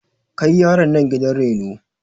Kai yaron nan gidan reno!